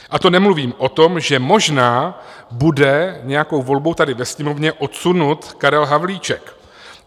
A to nemluvím o tom, že možná bude nějakou volbou tady ve Sněmovně odsunut Karel Havlíček.